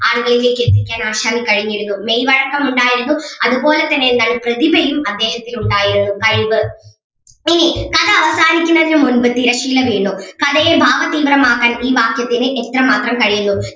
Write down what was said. ആളുകളിലേക്ക് എത്തിക്കാൻ ആശാന് കഴിഞ്ഞിരുന്നു മേയ്‌വഴക്കം ഉണ്ടായിരുന്നു അതുപോലെ തന്നെ എന്താണ് പ്രതിഭയും അദ്ദേഹത്തിന് ഉണ്ടായിരുന്നു കഴിവ്, ഇനി കഥ അവസാനിക്കുന്നതിന് മുൻപ് തിരശീല വീണു കഥയെ ഭാവതീവ്രമാക്കാൻ ഈ വാക്യത്തിന് എത്രമാത്രം കഴിയുന്നു.